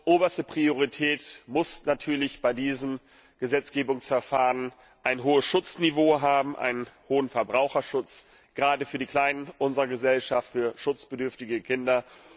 Oberste Priorität muss natürlich bei diesem Gesetzgebungsverfahren ein hohes Schutzniveau haben, ein hoher Verbraucherschutz gerade für die Kleinen unserer Gesellschaft, für schutzbedürftige Kinder.